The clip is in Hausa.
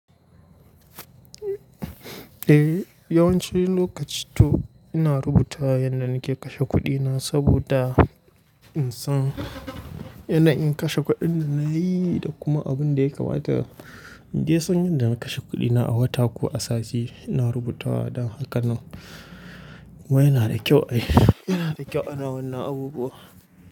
Eh yawancin lokaci to ina rubuta yanda nake kashe kuɗina saboda in san yanayi in kashe kuɗin da nayi da kuma abin da ya kamata in je san yanda na kashe kuɗina a wata ko a sati. Ina rubutawa don haka kuma yana da kyau ayi. Yana da kyau ana wannan abubuwa.